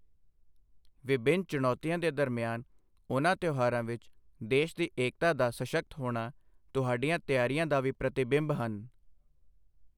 ਵਿਭਿੰਨ ਚੁਣੌਤਆਂ ਦੇ ਦਰਮਿਆਨ, ਇਨ੍ਹਾਂ ਤਿਉਹਾਰਾਂ ਵਿੱਚ ਦੇਸ਼ ਦੀ ਏਕਤਾ ਦਾ ਸ਼ਸਕਤ ਹੋਣਾ ਤੁਹਾਡੀਆਂ ਤਿਆਰੀਆਂ ਦਾ ਵੀ ਪ੍ਰਤੀਬਿੰਬ ਹਨ।